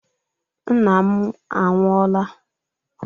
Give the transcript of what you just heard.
Nna m anwu- ọla